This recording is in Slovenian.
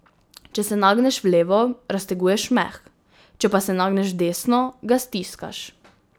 Če se nagneš v levo, razteguješ meh, če pa se nagneš v desno, ga stiskaš.